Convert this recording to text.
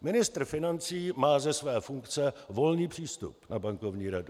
Ministr financí má ze své funkce volný přístup na bankovní radu.